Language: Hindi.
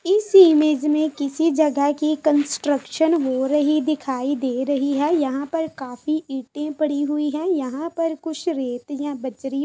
इस इमेज में किसी जगह की कंस्ट्रक्शन हो रही दिखाई दे रही है यहाँ पर काफी ईंटें पड़ी हुई हैंयहाँ पर कुछ रेत या बजरी --